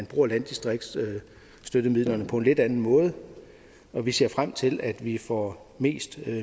bruger landdistriktsstøttemidlerne på en lidt anden måde og vi ser frem til at vi får mest